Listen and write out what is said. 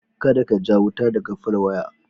Kada ka ja wuta daga folwaya.